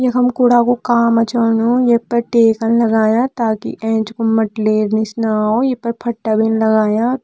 यखम कुड़ा कू काम चलणु ये पर टेकन लगायां ताकि एंच कू मटली निस न अ ये पर फटा भी लगायां।